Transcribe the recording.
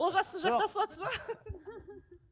олжас сіз жақтасыватсыз ба